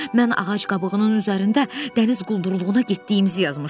Mən ağac qabığının üzərində dəniz quldurluğuna getdiyimizi yazmışdım.